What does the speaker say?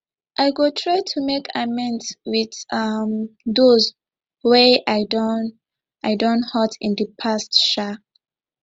i go try to make amends with um those wey i don i don hurt in the past um